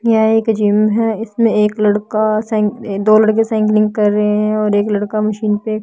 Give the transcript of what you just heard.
यह एक जिम है इसमें एक लड़का दो लड़के साइकिलिंग कर रहे हैं और एक लड़का मशीन पे--